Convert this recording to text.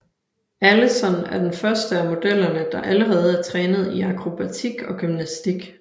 Alison er den første af modellerne der allerede er trænet i akrobatik og gymnastik